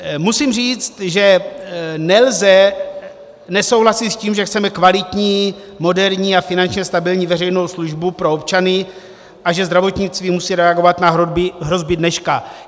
Musím říct, že nelze nesouhlasit s tím, že chceme kvalitní, moderní a finančně stabilní veřejnou službu pro občany a že zdravotnictví musí reagovat na hrozby dneška.